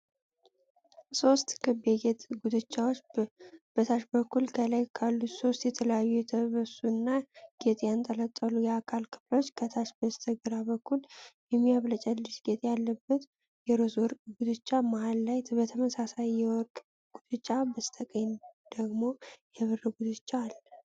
ሦስት ክብ የጌጥ ጉትቻዎች በታች በኩል ከላይ ካሉት ሦስት የተለያዩ የተበሱ እና ጌጥ ያንጠለጠሉ የአካል ክፍሎች፣ ከታች በስተግራ በኩል የሚያብለጨልጭ ጌጥ ያለበት የሮዝ ወርቅ ጉትቻ፣ መሃል ላይ ተመሳሳይ የወርቅ ጉትቻ፣ በስተቀኝ ደግሞ የብር ጉትቻ አለ።